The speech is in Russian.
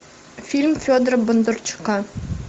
фильм федора бондарчука